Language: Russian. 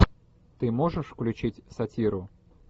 ты можешь включить сатиру